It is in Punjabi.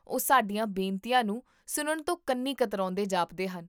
ਉਹ ਸਾਡੀਆਂ ਬੇਨਤੀਆਂ ਨੂੰ ਸੁਣਨ ਤੋਂ ਕੰਨੀ ਕਤਰਾਉਂਦੇ ਜਾਪਦੇ ਹਨ